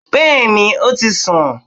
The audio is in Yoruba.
Bẹ́ẹ̀ni ó ti sùn